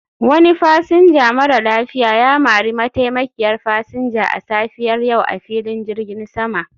Wani fasinja mara lafiya ya mari mataimakiyar fasinja a safiyar yau a filin jirgin sama